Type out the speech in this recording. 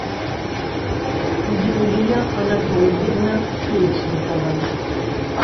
юлия анатольевна печникова